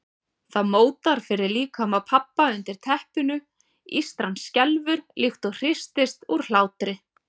Það mótar fyrir líkama pabba undir teppinu, ístran skelfur líkt og hristist úr hlátri.